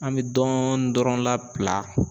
An bɛ dɔɔn dɔrɔn labila